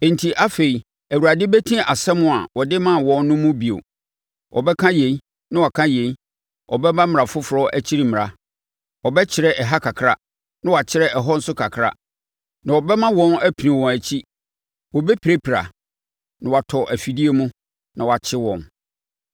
Enti afei Awurade bɛti asɛm a ɔde maa wɔn no mu bio: Ɔbɛka yei, na waka yei, ɔbɛma mmara foforɔ akyi mmara; ɔbɛkyerɛ ɛha kakra, na wakyerɛ ɛhɔ nso kakra, na ɛbɛma wɔn apini wɔn akyi; wɔbɛpirapira, na wɔatɔ afidie mu, na wɔakye wɔn.